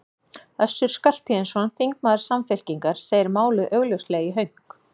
Össur Skarphéðinsson, þingmaður Samfylkingar, segir málið augljóslega í hönk.